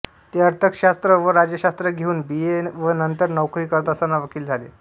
ते अर्थशास्त्र व राज्यशास्त्र घेऊन बी ए व नंतर नोकरी करत असताना वकील झाले